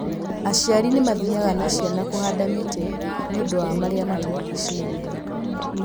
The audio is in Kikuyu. Aciari nĩ mathiaga na ciana kũhanda mĩtĩ nĩ ũndũ wa marĩá matũrigicĩirie.